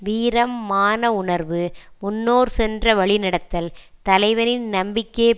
வீரம் மான உணர்வு முன்னோர் சென்ற வழி நடத்தல் தலைவனின் நம்பிக்கையைப்